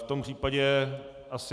V tom případě asi...